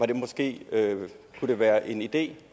det måske kunne være en idé